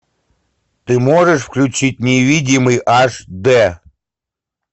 ты можешь включить невидимый аш д